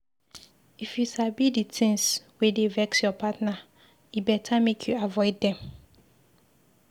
If you sabi di tins wey dey vex your partner, e beta make you avoid dem.